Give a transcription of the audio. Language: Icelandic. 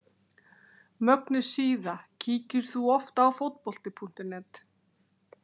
Mögnuð síða Kíkir þú oft á Fótbolti.net?